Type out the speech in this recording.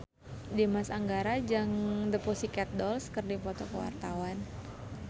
Dimas Anggara jeung The Pussycat Dolls keur dipoto ku wartawan